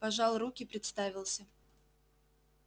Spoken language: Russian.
пожал руки представился